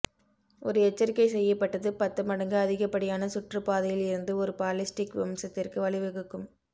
ஒரு எச்சரிக்கை செய்யப்பட்டது பத்து மடங்கு அதிகப்படியான சுற்றுப்பாதையில் இருந்து ஒரு பாலிஸ்டிக் வம்சத்திற்கு வழிவகுக்கும்